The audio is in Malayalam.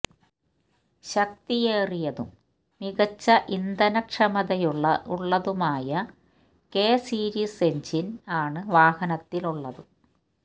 ശക്തിയേറിയതും മികച്ച ഇന്ധനക്ഷമതയുള്ള ഉള്ളതുമായ കെ സീരീസ് എഞ്ചിന് ആണ് വാഹനത്തില് ഉള്ളത്